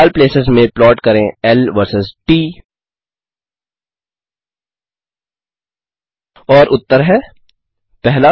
लाल pluses में plot करें ल वर्सेज़ ट और उत्तर हैं 1